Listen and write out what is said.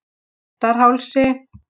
Réttarhálsi